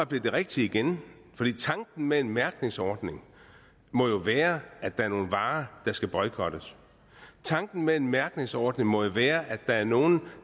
blevet det rigtige igen for tanken med en mærkningsordning må jo være at der er nogle varer der skal boykottes tanken med en mærkningsordning må jo være at der er nogen